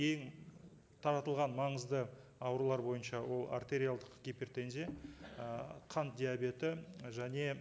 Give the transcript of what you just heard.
ең таратылған маңызды аурулар бойынша ол артериалдық гипертензия ы қант диабеті және